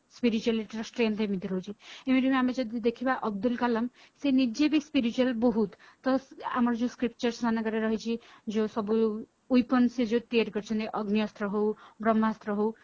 spirituality ର strength ଏମିତି ରହୁଛି even ଆମେ ଯଦି ଦେଖିବା ଅବଦୁଲ କାଲାମ ସେ ନିଜେ ବି spiritual ବହୁତ ତ ଆମର ଯୋଉ scriptures ମାନଙ୍କରେ ରହିଛି ଯୋଉ ସବୁ weapon ସେ ତିଆରି କରିଛନ୍ତି ସେ ଯୋଉ ତିଆରି କରିଛନ୍ତି ଅଗ୍ନି ଅସ୍ତ୍ର ହଉ ବ୍ରହ୍ମାସ୍ତ୍ର ହଉ